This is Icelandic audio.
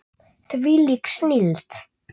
Þvílík snilld!